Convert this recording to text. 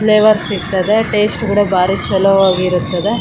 Flavours ಸಿಗ್ತದೆ taste ಕೂಡ ಬಾರಿ ಚಲೋ ಆಗಿರುತ್ತವೆ .